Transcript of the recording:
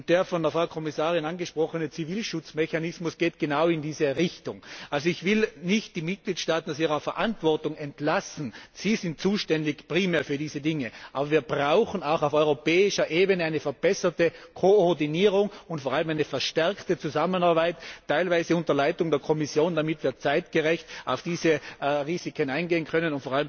Der von der Frau Kommissarin angesprochene Zivilschutzmechanismus geht genau in diese Richtung. Ich will nicht die Mitgliedstaaten aus ihrer Verantwortung entlassen, sie sind primär zuständig für diese Dinge, aber wir brauchen auch auf europäischer Ebene eine verbesserte Koordinierung und vor allem eine verstärkte Zusammenarbeit, teilweise unter Leitung der Kommission, damit wir zeitgerecht auf diese Risiken eingehen können.